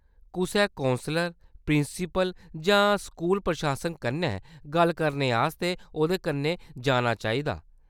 कुसै counsellor, principal जां school प्रशासन कन्नै गल्ल करने आस्तै ओह्‌दे कन्नै जाना चाहिदा।